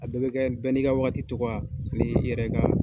A bɛɛ bi kɛ bɛ n'i ka wagati togoya ani yɛrɛ ka